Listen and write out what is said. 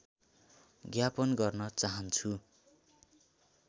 ज्ञापन गर्न चाहन्छु